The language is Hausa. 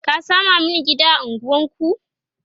ka Sama Mani gida a unguwanku!